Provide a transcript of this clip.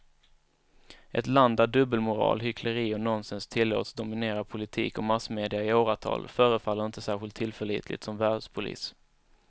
Ett land där dubbelmoral, hyckleri och nonsens tillåts dominera politik och massmedia i åratal förefaller inte särskilt tillförlitligt som världspolis.